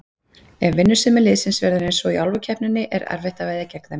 Ef vinnusemi liðsins verður eins og í Álfukeppninni er erfitt að veðja gegn þeim.